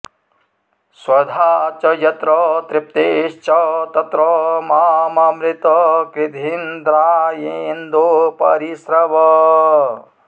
स्व॒धा च॒ यत्र॒ तृप्ति॑श्च॒ तत्र॒ माम॒मृतं॑ कृ॒धीन्द्रा॑येन्दो॒ परि॑ स्रव